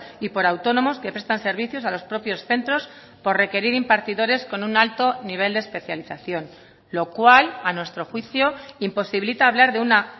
y por autónomos que prestan servicios a los propios centros por requerir impartidores con un alto nivel de especialización lo cual a nuestro juicio imposibilita hablar de una